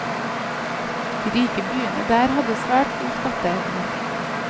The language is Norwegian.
De rike byene der hadde svært god skatteevne.